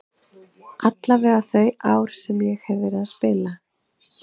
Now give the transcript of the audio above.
Allavega þau ár sem ég hef verið að spila.